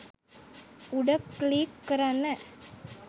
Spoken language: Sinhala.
උඩ ක්ලික් කරන්න